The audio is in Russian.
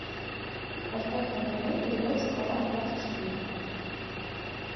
поставь на тв передачу хабар двадцать четыре